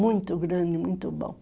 Muito grande, muito bom.